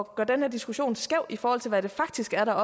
at gøre diskussionen skæv i forhold til hvad det faktisk er der